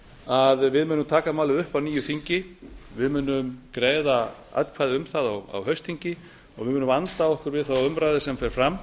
að við munum taka málið upp á nýju þingi við munum greiða atkvæði um það á haustþingi og við munum vanda okkur við þá umræðu sem fer fram